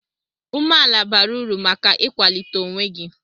Umeala bara uru maka ịkwalite onwe gị.